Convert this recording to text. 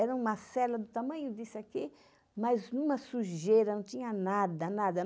Era uma cela do tamanho disso aqui, mas numa sujeira, não tinha nada, nada.